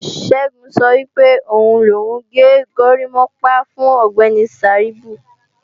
Ṣẹ́gun sọ pé òun lòun gé górimápá fún Ọ̀gbẹ́ni Sàíbù